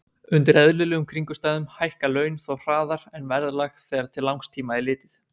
Undir eðlilegum kringumstæðum hækka laun þó hraðar en verðlag þegar til langs tíma er litið.